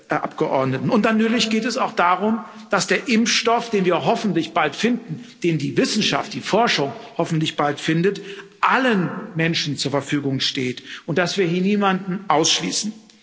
Dann natürlich geht es auch darum, dass der Impfstoff, den wir hoffentlich bald finden den die Wissenschaft, die Forschung hoffentlich bald findet allen Menschen zur Verfügung steht und dass wir hier niemanden ausschließen.